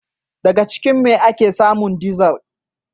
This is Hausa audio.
Daga jikin me ake samun dizar?